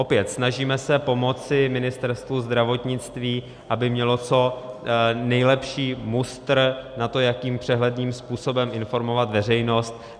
Opět - snažíme se pomoci Ministerstvu zdravotnictví, aby mělo co nejlepší mustr na to, jakým přehledným způsobem informovat veřejnost.